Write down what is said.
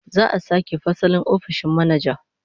Za'a sake fasalin ofishin manaja